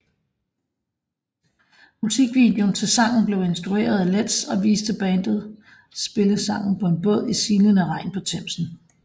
Musikvideoen til sangen blev instrueret af Letts og viste bandet spille sangen på en båd i silende regn på Themsen